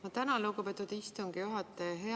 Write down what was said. Ma tänan, lugupeetud istungi juhataja!